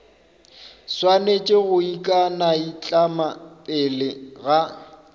swanetše go ikanaitlama pele ga